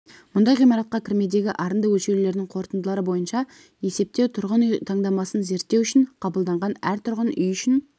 мұндай ғимаратқа кірмедегі арынды өлеулердің қорытындылары бойынша есептеу тұрғын үй таңдамасын зерттеу үшін қабылданған әр тұрғын үй үшін